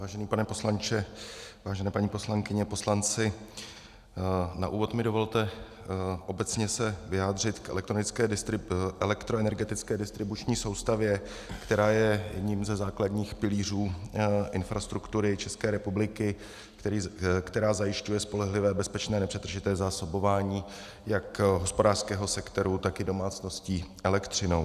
Vážený pane poslanče, vážené paní poslankyně, poslanci, na úvod mi dovolte se obecně vyjádřit k elektroenergetické distribuční soustavě, která je jedním ze základních pilířů infrastruktury České republiky, která zajišťuje spolehlivé, bezpečné nepřetržité zásobování jak hospodářského sektoru, tak i domácností elektřinou.